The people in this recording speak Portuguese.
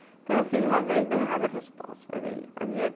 Então, eu fiz uma vez e deu errado a resposta.